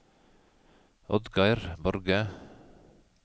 Oddgeir Borge